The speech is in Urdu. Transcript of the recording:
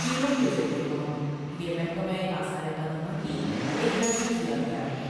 کیڑوں کے ذریعے موت یہ محکمہ آثار قدیمہ کی ایک محفوظ یادگار ہے۔